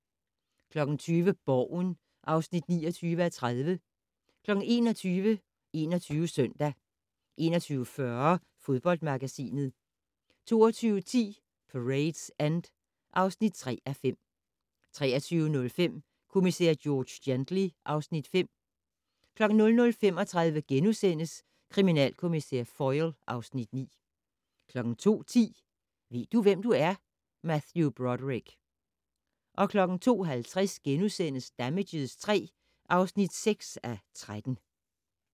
20:00: Borgen (29:30) 21:00: 21 Søndag 21:40: Fodboldmagasinet 22:10: Parade's End (3:5) 23:05: Kommissær George Gently (Afs. 5) 00:35: Kriminalkommissær Foyle (Afs. 9)* 02:10: Ved du, hvem du er? - Matthew Broderick 02:50: Damages III (6:13)*